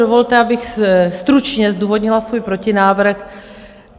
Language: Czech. Dovolte, abych stručně zdůvodnila svůj protinávrh.